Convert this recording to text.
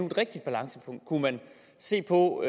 et rigtigt balancepunkt kunne man se på